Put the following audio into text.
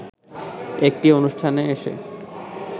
একটি অনুষ্ঠানে এসে